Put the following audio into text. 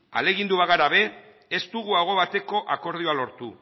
ahalegindu bagara ere ez dugu aho bateko akordioa lortu